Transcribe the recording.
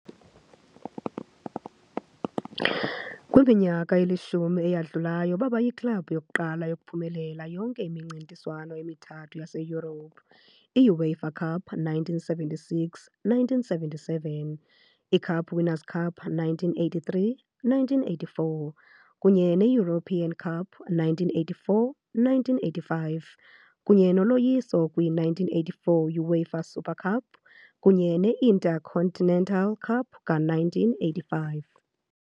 Kwiminyaka elishumi eyadlulayo baba yiklabhu yokuqala yokuphumelela yonke imincintiswano emithathu yaseYurophu- i -UEFA Cup, 1976-1977, i- Cup Winners 'Cup, 1983-1984, kunye ne- European Cup, 1984-1985, kunye noloyiso kwi- 1984 UEFA Super Cup kunye ne- Intercontinental Cup ka-1985